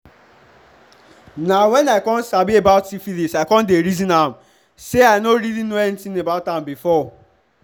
na when i come sabi about syphilis i come the reason am say i no really know anything about am before